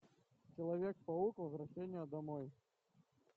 человек паук возвращение домой